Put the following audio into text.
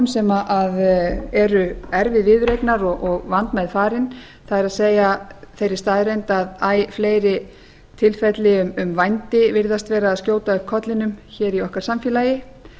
sem eru erfið viðureignar og vandmeðfarin það er þeirri staðreynd að æ fleiri tilfelli um vændi virðast vera að skjóta upp kollinum í okkar samfélagi